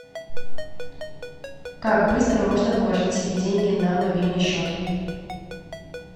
как быстро можно положить себе деньги на мобильный счет